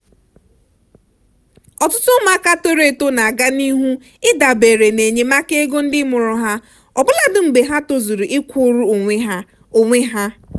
ọtụtụ ụmụaka toro eto na aga n'ihu idabere n'enyemaka ego ndị mụrụ ha ọbụladi mgbe ha tozuru ịkwụrụ onwe ha. onwe ha.